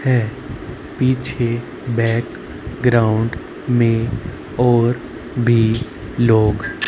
है पीछे background में और भी लोग--